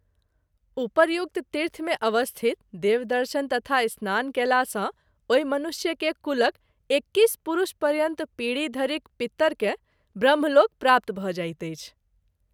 उपर्युक्त तीर्थ मे अवस्थित देवदर्शन तथा स्नान कएला सँ ओहि मनुष्य के कुलक एक्कीस पुरूष पर्यन्त पीढी धरिक पितर के ब्रह्मलोक प्राप्त भ’ जाइत अछि।